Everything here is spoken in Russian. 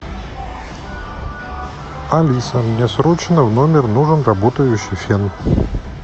алиса мне срочно в номер нужен работающий фен